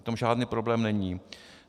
V tom žádný problém není.